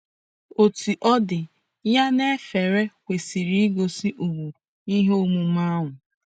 Otú ọ dị, ya na efere kwesịrị igosi ùgwù ihe omume ahụ.